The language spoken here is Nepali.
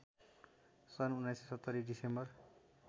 सन् १९७० डिसेम्बर